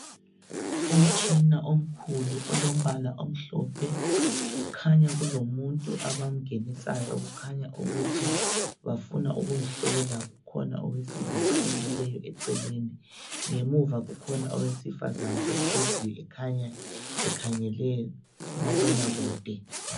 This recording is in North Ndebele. Umtshina omkhulu olombala omhlophe kukhanya kulomuntu abamngenisayo okukhanya ukuthi bafuna ukumhlola. Kukhona owesilisa omileyo eceleni. Ngemuva kukhona owesifazana ohleziyo ekhanya ekhangele kumabonakude.